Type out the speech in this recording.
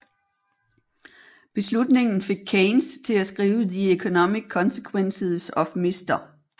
Beslutningen fik Keynes til at skrive The Economic Consequences of Mr